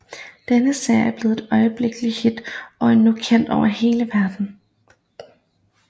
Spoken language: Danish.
Denne serie blev et øjeblikkeligt hit og er nu kendt over hele verden